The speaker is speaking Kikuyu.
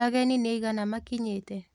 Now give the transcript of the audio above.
Ageni nĩaigana makinyĩte